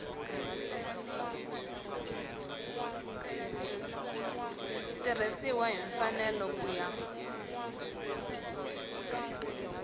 tirhisiwile hi mfanelo ku ya